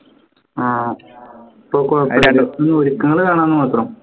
ആ വിളിക്കണത് കാണാന്ന് മാത്രം